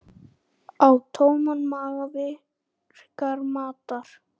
Á tóman maga virkar matar